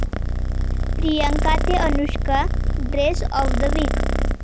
प्रियांका ते Anushka dress of the weak'